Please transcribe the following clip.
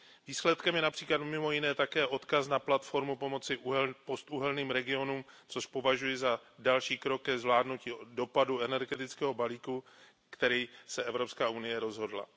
Výsledkem je například mimo jiné také odkaz na platformu pomoci postuhelným regionům, což považuji za další krok ke zvládnutí dopadů energetického balíčku, ke kterému se Evropská unie rozhodla.